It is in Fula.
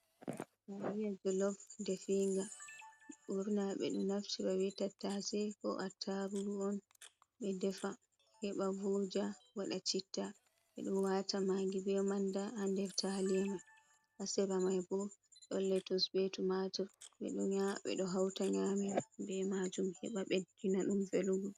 Taaliya jolof defiinga, ɓurna ɓe ɗo naftira bee Tattaase koo Attaarugu on ɓe defa heɓa vooja waɗa citta, ɓe ɗo waata Maagi bee Mannda haa nder Taaliya mai, haa sera mai boo ɗon Letus bee Tumatir ɓe ɗo hawta nyaamira bee maajum heɓa ɓeddina ɗum velugo.